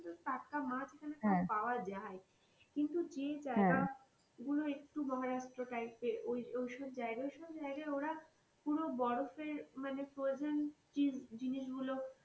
টাটকা মাছ এইখানে পাওয়া যাই কিন্তু যে জায়গা গুলো একটু মহারাষ্ট্র type এর ওই ঐসব জায়গা ঐসব জায়গায় ওরা পুরো বরফের মানে frozen জীন~জিনিস গুলো।